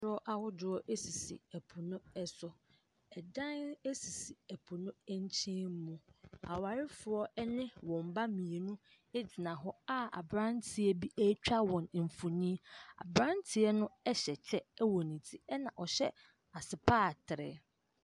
Koroɔ ahodoɔ sisi po no so. Dan sisi po no nkyɛn mu. Awarefoɔ ne wɔn ba mmienu gyina hɔ a aberanteɛ bi retwa wɔn mfonin. Aberanteɛ no hyɛ kyɛ wɔ ne ti, ɛnna ɔhyɛ asopaatere.